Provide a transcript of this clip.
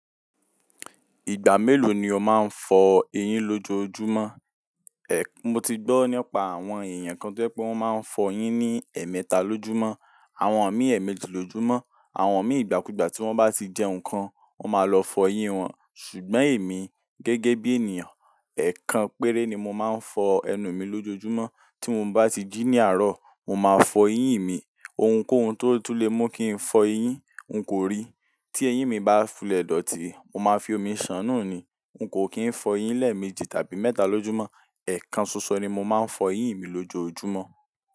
Ìgbà mélòó ni o máa ń fọ eyín lójoojúmọ́? Ẹ̀, mo ti gbọ́ nípa àwọn èèyàn kan tí o je pe wọ́n máa ń fọ eyín ní ẹ̀ẹ̀mẹta lójúmọ́, àwọn mii eemẹ́jì lójúmọ́, àwọn mi ìgbà kúgbà tí wọ́n bá tì jẹ nǹkan, wọ́n máa lọ fọ eyín wọn. Ṣùgbọ́n èmi gẹ́gẹ́ bí ènìyàn, ẹ̀kan péré ni mo máa ń fọ ẹnu mi lójoojúmọ́. Tí mo bá tì jí ní àárọ̀, mo máa fọ eyín mi. Ohunkóhun tó tún le mú kí n fọ eyín n kò rí. Tí eyín mi bá fulẹ̀ dọ̀tí, mo máa fi omi ṣàánù ni, n kò kí n fọ eyín lẹ́ẹ̀mẹ́jì tàbí mẹ́ta lójúmọ́. Ẹ̀kan ṣoṣo ni mo máa ń fọ eyín mi lójoojúmọ́.